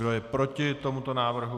Kdo je proti tomuto návrhu?